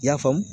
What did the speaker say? I y'a faamu